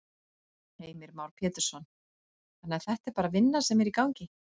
Heimir Már Pétursson: Þannig að þetta er bara vinna sem er í gangi?